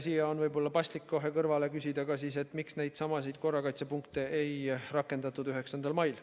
Siia on võib-olla paslik kohe kõrvale küsida, miks neidsamasid korrakaitsepunkte ei rakendatud 9. mail.